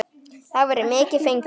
Þá væri mikið fengið.